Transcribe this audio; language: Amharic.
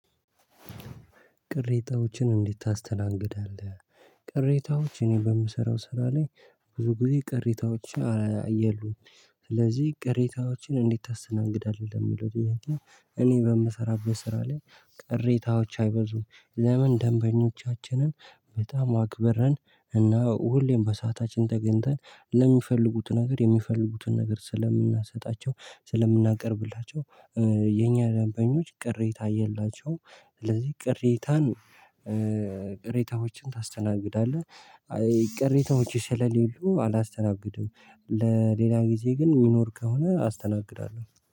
ቅሬታዎችን እንዴት ታስተናግዳለህ? ቅሬታዎች እኔ በምሰራው ስራ ላይ ብዙ ጊዜ ቅሬታዎች የሉም ስለዚህ ቅሬታዎችን እንዲታሰና እንግዳለን የሚለው ጥያቄ እኔ በምሰራበት ስራ ላይ ቅሬታዎች አይበዙም። ለምን ደንበኞቻችንን በጣም አክበርን እና ሁሌም በሰአታችን ተገንተን ለሚፈልጉት ነገር የሚፈልጉትን ነገር ስለምናሰጣቸው ስለምናቀርብላቸው የኛ ደንበኞች ቅሬታ የላቸውም። ስለዚህ ቅሬታን ቅሬታዎችን ታስተናግዳለህ ቅሬታዎች ስለሌሉ አላስተናግድም። ለሌላ ጊዜ ግን ይኖር ከሆነ አስተናግዳለሁ።